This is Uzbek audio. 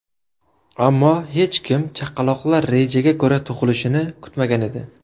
Ammo hech kim chaqaloqlar rejaga ko‘ra tug‘ilishini kutmagan edi.